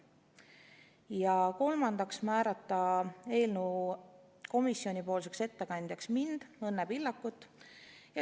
Ja kolmandaks, määrata eelnõu komisjonipoolseks ettekandjaks mind, Õnne Pillakut.